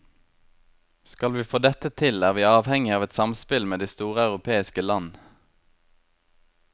Skal vi få dette til, er vi avhengige av et samspill med de store europeiske land.